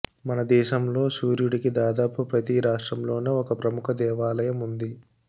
మనదేశంలో సూర్యుడికి దాదాపు ప్రతి రాష్ట్రంలోనూ ఓ ప్రముఖ దేవాలయం ఉంది